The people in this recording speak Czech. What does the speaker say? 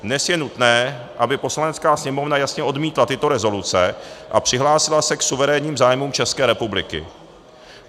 Dnes je nutné, aby Poslanecká sněmovna jasně odmítla tyto rezoluce a přihlásila se k suverénním zájmům České republiky.